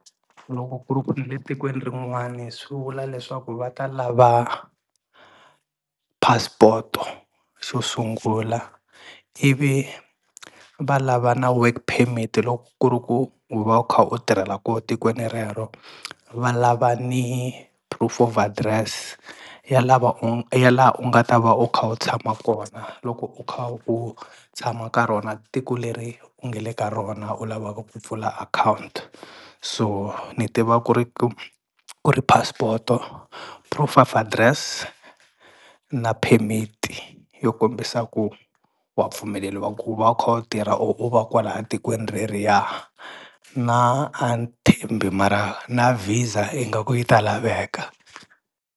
Loko ku ri ku nile tikweni rin'wani swi vula leswaku va ta lava passport-o xo sungula ivi va lava na work permit loko ku ri ku u va u kha u tirhela koho tikweni rero va lava ni proof of address ya lava ya laha u nga ta va u kha u tshama kona loko u kha u tshama ka rona tiko leri u nge le ka rona u lavaka ku pfula account so ni tiva ku ri ku ku ri passport-o, proof of address, na permit yo kombisa ku wa pfumeleliwa ku va u kha u tirha u va kwalaya tikweni reriya na mara na VISA ingaku yi ta laveka.